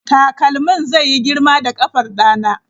Takalmin zai yi girma da ƙafar ɗana.